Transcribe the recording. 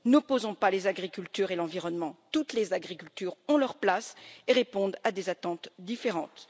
N'opposons pas les agricultures et l'environnement toutes les agricultures ont leur place et répondent à des attentes différentes.